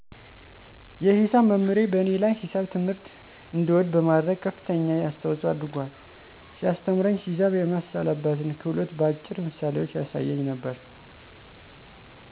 የሂሳብ መምህሬ በእኔ ላይ ሂሳብ ትምህርት እንድወድ በማድረግ ከፍተኛ አሰተዋጽኦ አድርጓል። ሲያሰተምረኝ ሂሳብ የማሰላበትን ክህሎት በአጭር ምሳሌዎች ያሳየኝ ነበረ።